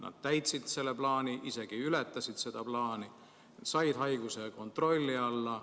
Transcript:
Nad täitsid oma plaani, isegi ületasid seda, said haiguse kontrolli alla.